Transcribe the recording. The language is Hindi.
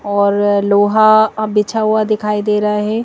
और लोहा बिछा हुआ दिखाई दे रहा है।